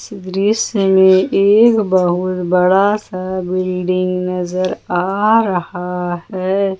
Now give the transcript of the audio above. दृश्य में एक बहुत बड़ा सा बिल्डिंग नजर आ रहा है।